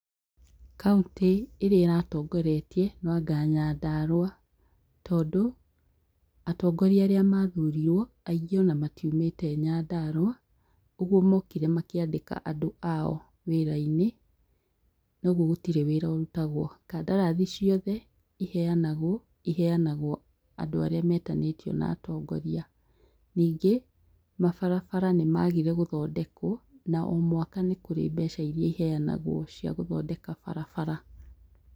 Kauntĩ ĩrĩa ĩratongoretie noanga Nyandarua. Tondũ atongoria arĩa mathurirwo , aingĩ ona matiumĩte Nyandarua , ũguo mokire makĩandĩka andũ ao wĩra-inĩ, ũguo gũtirĩ wĩra ũrutagwo. Kandarathi ciothe iheanagwo, iheanagwo andũ arĩa metanĩtio na atongoria. Nyingĩ mabarabara nĩmagire gũthondekwo na o mwaka nĩkũrĩ mbeca iria iheanagwo cia gũthondeka barabara.